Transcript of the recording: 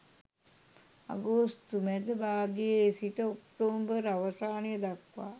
අගෝස්තු මැද භාගයේ සිට ඔක්තෝබර් අවසානය දක්වා